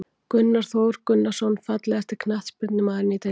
Gunnar Þór Gunnarsson Fallegasti knattspyrnumaðurinn í deildinni?